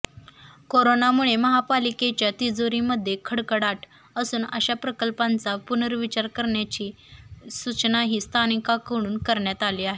करोनामुळे महापालिकेच्या तिजोरीमध्ये खडखडाट असून अशा प्रकल्पांचा पुर्नविचार करण्याची सूचनाही स्थानिकांकडून करण्यात आली आहे